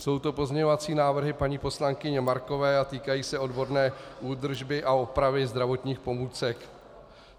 Jsou to pozměňovací návrhy paní poslankyně Markové a týkají se odborné údržby a opravy zdravotních pomůcek.